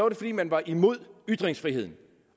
det fordi man var imod ytringsfriheden